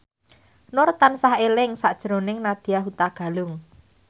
Nur tansah eling sakjroning Nadya Hutagalung